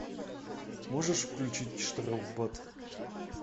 можешь включить штрафбат